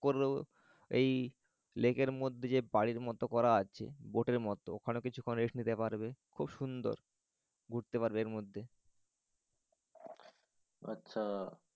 করে এই লেকের মধ্যে যে বাড়ির মত করা আছে boat এর মত ওখানে কিছুক্ষণ rest নিতে পারবে। খুব সুন্দর। ঘুরতে পারবে এর মধ্যে। আচ্ছা।